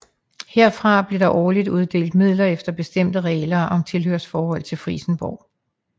Herfra blev der årligt uddelt midler efter bestemte regler om tilhørsforhold til Frijsenborg